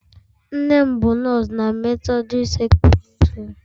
Nne m bụ nọọsụ na methodist secondiri sukool.